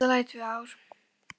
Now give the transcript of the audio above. Þetta verða í mesta lagi tvö ár.